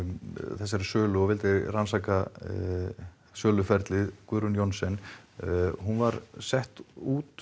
þessari sölu og vildi rannsaka söluferlið Guðrún Johnsen hún var sett út